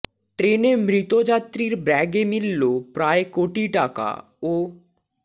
ট্রেনে মৃত যাত্রীর ব্যাগে মিলল প্রায় কোটি টাকা ও